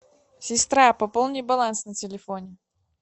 сестра пополни баланс на телефоне